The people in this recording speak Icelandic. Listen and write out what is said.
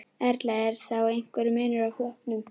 Erla: Er þá einhver munur á flokkum?